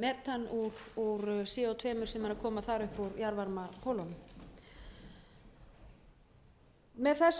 metan úr co tvö sem er að koma þar upp úr jarðvarmakolunum með